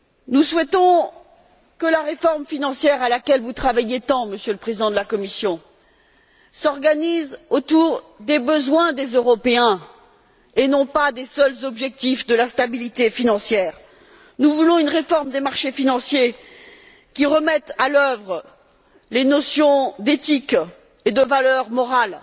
Nous souhaitons que la réforme financière à laquelle vous travaillez tant, Monsieur le Président de la Commission, s'organise autour des besoins des Européens et non pas des seuls objectifs de la stabilité financière. Nous voulons une réforme des marchés financiers qui remette à l'œuvre les notions d'éthique et de valeur morale,